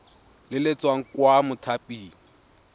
le le tswang kwa mothaping